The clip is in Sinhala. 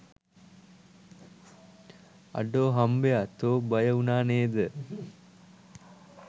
අඩෝ හම්බයා තෝ බය වුනා නේද